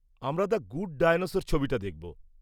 আমরা the Good Dinosaur ছবিটা দেখব।